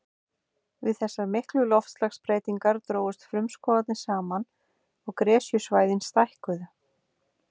Við þessar miklu loftslagsbreytingar drógust frumskógarnir saman og gresjusvæðin stækkuðu.